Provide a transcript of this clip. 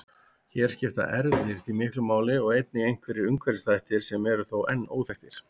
Hér skipta erfðir því miklu máli en einnig einhverjir umhverfisþættir sem eru þó enn óþekktir.